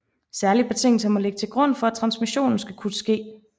Særlige betingelser må ligge til grund for at transmission skal kunne ske